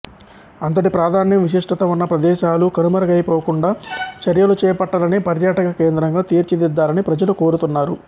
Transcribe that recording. అంతటి ప్రాధాన్యం విశిష్టత ఉన్న ప్రదేశాలు కనుమరుగైపోకుండా చర్యలు చేపట్టాలని పర్యాటక కేంద్రంగా తీర్చిదిద్దాలని ప్రజలు కోరుతున్నారు